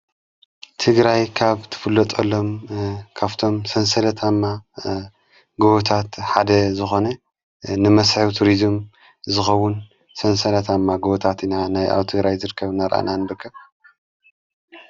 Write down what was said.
ቲግራይ ካብ ትፍሎጠሎም ካፍቶም ሠንሠለት ማ ጐወታት ሓደ ዝኾነ ንመስሒ ቱሪዙም ዝኸውን ሠንሰለት እማ ጐወታት ኢና ናይ ኣው ቲግራይ ዘድከብ ነርአና ንርከብ።